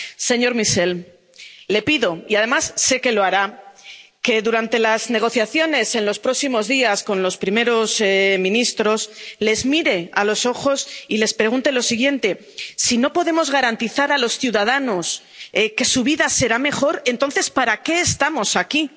Señor Michel, le pido —y además sé que lo hará— que, durante las negociaciones en los próximos días con los primeros ministros, les mire a los ojos y les pregunte lo siguiente si no podemos garantizar a los ciudadanos que su vida será mejor, entonces ¿para qué estamos aquí?